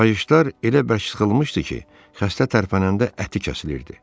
Qayışlar elə bərk sıxılmışdı ki, xəstə tərpənəndə əti kəsilirdi.